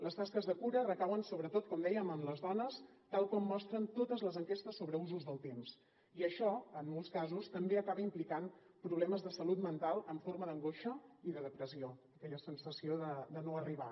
les tasques de cura recauen sobretot com dèiem en les dones tal com mostren totes les enquestes sobre usos del temps i això en molts casos també acaba implicant problemes de salut mental en forma d’angoixa i de depressió aquella sensació de no arribar